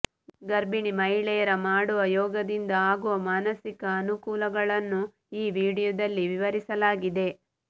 ಗರ್ಭಿಣಿ ಮಹಿಳೆಯರ ಮಾಡುವ ಯೋಗದಿಂದ ಆಗುವ ಮಾನಸಿಕ ಅನುಕೂಲಗಳನ್ನು ಈ ವಿಡಿಯೋದಲ್ಲಿ ವಿವರಿಸಲಾಗಿದೆ